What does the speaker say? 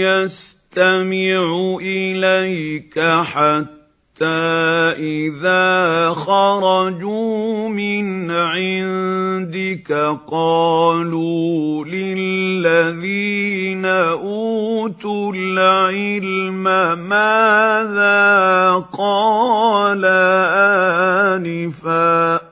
يَسْتَمِعُ إِلَيْكَ حَتَّىٰ إِذَا خَرَجُوا مِنْ عِندِكَ قَالُوا لِلَّذِينَ أُوتُوا الْعِلْمَ مَاذَا قَالَ آنِفًا ۚ